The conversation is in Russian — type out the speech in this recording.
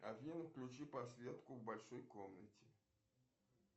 афина включи подсветку в большой комнате